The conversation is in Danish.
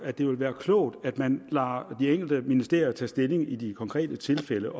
at det vil være klogt at man lader de enkelte ministerier tage stilling i de konkrete tilfælde